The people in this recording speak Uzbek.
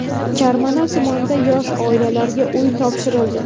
Karmana tumanida yosh oilalarga uy topshirildi.